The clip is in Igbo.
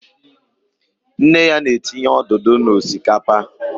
Nne ya na-etinye odudu na osikapa